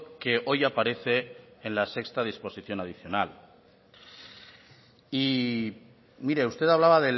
que hoy aparece en la sexta disposición adicional y mire usted hablaba